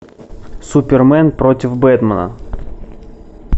супермен против бэтмена